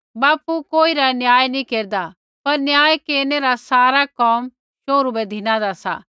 बापू कोई रा न्याय नी केरदा पर न्याय केरनै रा सारा कोम शोहरू बै धिनादा सा